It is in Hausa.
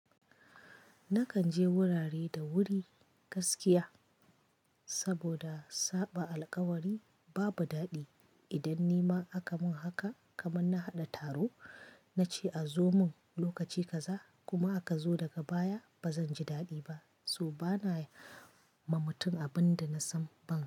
Nakan je wurare da wuri gaskiya saboda saɓa alƙawari babu daɗi. Idan nima aka mun haka kaman na haɗa taro, nace a zo mun lokaci ƙaza kuma aka zo daga baya, bazan ji daɗi ba. So bana ma mutum abin da na san ban son yi.